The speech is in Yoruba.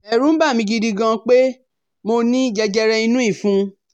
Ẹ̀rù ń bà mí gidi gan pé mo ní jẹjẹrẹ inú ìfun